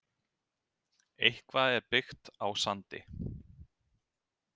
Eitthvað er byggt á sandi